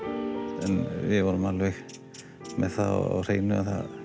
en við vorum alveg með það á hreinu að